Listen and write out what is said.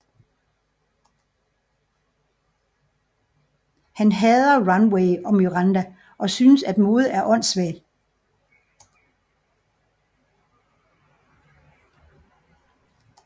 Han hader Runway og Miranda og synes at mode er åndsvagt